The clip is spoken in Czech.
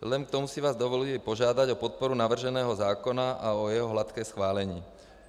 Vzhledem k tomu si vás dovoluji požádat o podporu navrženého zákona a o jeho hladké schválení.